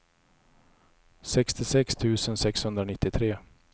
sextiosex tusen sexhundranittiotre